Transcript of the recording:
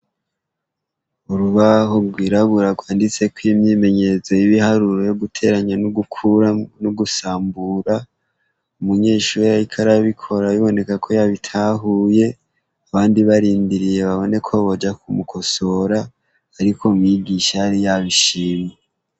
Urubaho rwirabura rwanditseko imyimenyerezo yibiharuro yoguteranya nogukuramwo nogusambura umunyeshure yariko arabikora bibonekako yabitahuye abandi barindiriye baboneko boja kumukosora ariko mwigisha yari yabishimye .